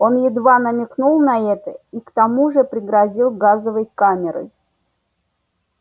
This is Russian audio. он едва намекнул на это и к тому же пригрозил газовой камерой